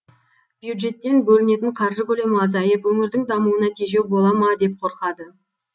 бюджеттен бөлінетін қаржы көлемі азайып өңірдің дамуына тежеу бола ма деп қорқады